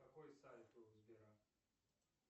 какой сайт у сбера